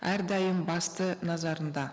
әрдайым басты назарында